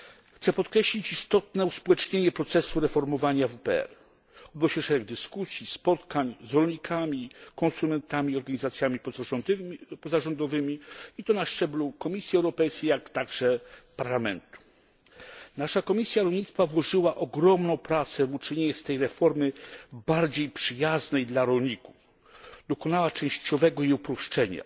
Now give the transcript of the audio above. Chciałbym podkreślić istotne uspołecznienie procesu reformowania WPR. Odbyło się szereg dyskusji, spotkań z rolnikami, konsumentami, organizacjami pozarządowymi i to na szczeblu Komisji Europejskiej, jak także Parlamentu. Nasza Komisja Rolnictwa włożyła ogromną pracę w uczynienie tej reformy bardziej przyjazną dla rolników. Dokonała jej częściowego uproszczenia,